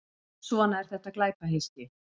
Svona er þetta glæpahyski.